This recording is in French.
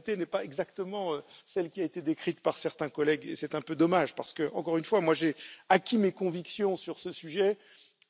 La réalité n'est pas exactement celle qui a été décrite par certains collègues et c'est un peu dommage parce que, encore une fois, j'ai acquis mes convictions sur ce sujet